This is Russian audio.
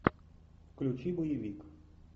включи боевик